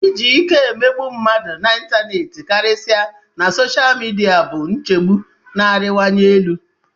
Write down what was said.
Iji ike emegbu mmadụ na ịntanetị, karịsịa na sosha midia, bụ nchegbu na-arịwanye elu.